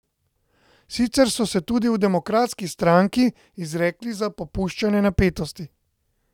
Sicer so se tudi v Demokratski stranki izrekli za popuščanje napetosti.